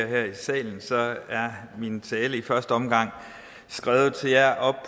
her i salen så er min tale i første omgang skrevet til jer